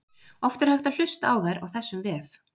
oft er hægt að hlusta á þær á þessum vef